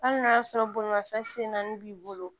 Hali n'a y'a sɔrɔ bolimafɛn sen naani b'i bolo